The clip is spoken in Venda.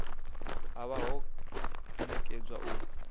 ha vha ho nekedzwa u